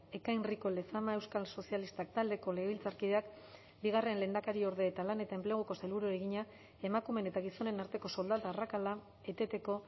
ekain rico lezama euskal sozialistak taldeko legebiltzarkideak bigarren lehendakariorde eta lan eta enpleguko sailburuari egina emakumeen eta gizonen arteko soldata arrakala eteteko